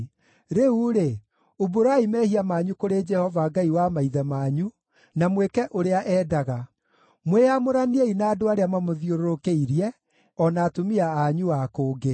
Rĩu-rĩ, umbũrai mehia manyu kũrĩ Jehova Ngai wa maithe manyu, na mwĩke ũrĩa endaga. Mwĩyamũraniei na andũ arĩa mamũthiũrũrũkĩirie, o na atumia anyu a kũngĩ.”